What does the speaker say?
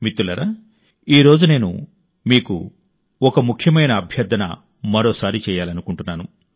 మిత్రులారా ఈ రోజు నేను మీకు మరో అభ్యర్థనను పునరావృతం చేయాలనుకుంటున్నాను